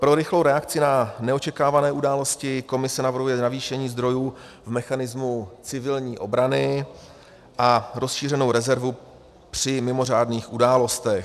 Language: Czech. Pro rychlou reakci na neočekávané události Komise navrhuje navýšení zdrojů v mechanismu civilní obrany a rozšířenou rezervu při mimořádných událostech.